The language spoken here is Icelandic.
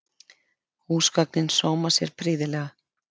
Húsgögnin sóma sér prýðilega